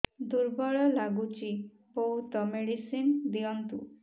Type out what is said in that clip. ଦୁର୍ବଳ ଲାଗୁଚି ବହୁତ ମେଡିସିନ ଦିଅନ୍ତୁ